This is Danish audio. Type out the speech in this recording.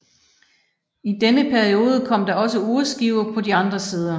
I denne periode kom der også urskiver på de andre sider